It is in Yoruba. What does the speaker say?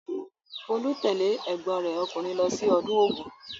Folú tẹ̀lé ẹ̀gbọ́n rẹ̀ ọkùnrin lọ sí ọdún Ògún?